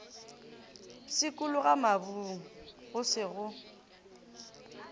pshikologa mabung go se go